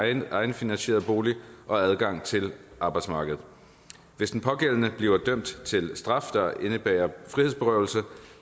egenfinansieret bolig og adgang til arbejdsmarkedet hvis den pågældende asylansøger bliver dømt til straf der indebærer frihedsberøvelse